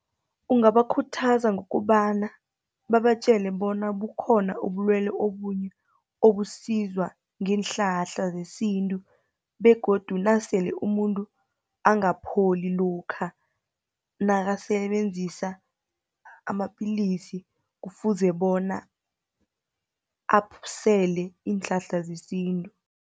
Ungabakhuthaza ngokobana, babatjele bona bukhona ubulwele obunye obusizwa ngeenhlahla zesintu, begodu nasele umuntu angapholi lokha nakasebenzisa amapillisi, kufuze bona asele iinhlahla zesintu.